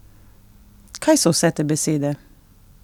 Kaj so vse te besede?